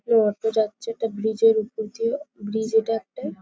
এবং অটো যাচ্ছে একটা ব্রিজ -এর উপর দিয়ে। ব্রিজ এটা একটা।